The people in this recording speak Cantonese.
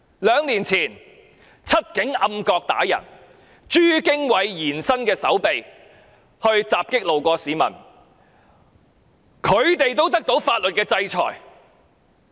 兩年前，"七警"在暗角毆打市民、朱經緯延伸的手臂襲擊路過的市民，他們也受到法律制裁。